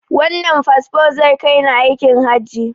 Wannan fasfon zai kai ni aikin hajji.